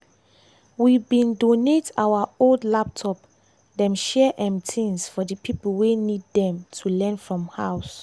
we bin donate our old laptop dem share um things for di pipo wey need dem to learn from house.